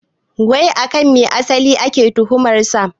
Wai akan me asali ake tuhumar sa?